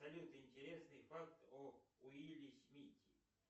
салют интересный факт о уилле смите